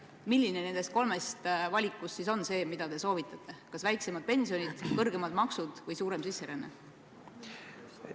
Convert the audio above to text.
Milline nendest kolmest valikust on see, mida te soovitate – kas väiksemad pensionid, kõrgemad maksud või suurem sisseränne?